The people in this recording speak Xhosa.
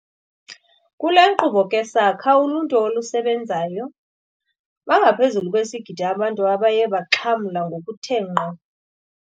Kule nkqubo ke sakha uluntu olusebenzayo. Bangaphezu kwesigidi abantu abaye baxhamla ngokuthe ngqo.